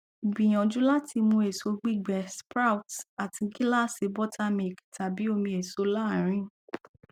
gbìyànjú láti mú èso gbígbẹ sprouts àti gíláàsì buttermilk tàbí omi èso láàárín